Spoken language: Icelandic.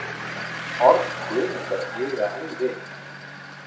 Orð Guðmundar eiga enn við.